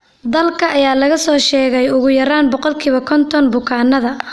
Daalka ayaa laga soo sheegay ugu yaraan boqolkiba konton bukaannada.